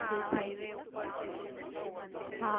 Highway ઉપર છે. ત્રિમૂર્તિ મંદિર